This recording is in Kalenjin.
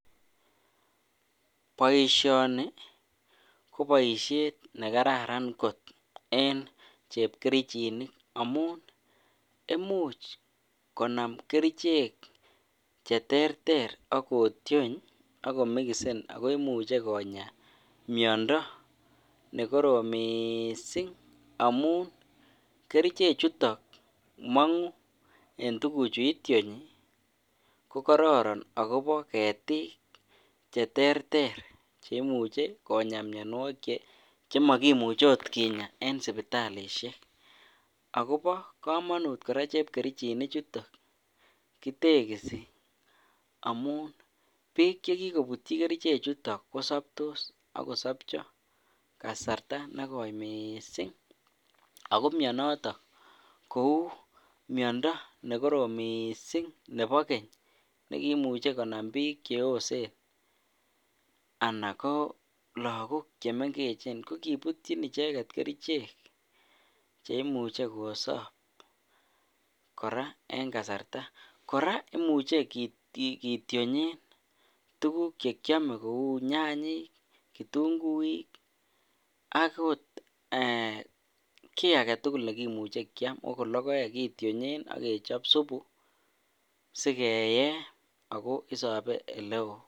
Boisioni ko boisiet ne kararan kot en chepkerichinik amun, imuch konam kerichek che terter ak ko tiony ako mikisen akoi imuchi konya miondo ne korom mising amun, kerichechutok mongu eng tukuchu itionyi, ko kororon akobo ketik che terter cheimuche konya mionwogik che makimuchi akot kinya en sipitalisiek, akobo kamanut kora chepkerichini chuto, kitekisi amun piik che kikobutyi keriche chutok ko kosoptos ak kosopcho kasarta ne koi mising, ako mionoto kou miondo ne korom mising nebo keny nekimuchi konam piik che osen anan ko lagok che mengechen, ko kibutyin icheket kerichek cheimuchi kosop kora en kasarta, kora komuch kitionyen tukuk che kiome kou nyanyik, kitunguik, ak ot um kiy ake tugul nekimuchi kiam akot logoek kitionyen ak kechop supu si keye ako isope ele oo.